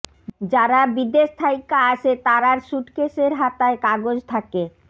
যারা বিদেশ থাইক্যা আসে তারার স্যুটকেসের হাতায় কাগজ থাকে